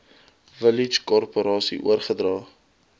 village korporasie oorgedra